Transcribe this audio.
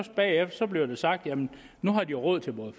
bagefter bliver det sagt at nu har de råd til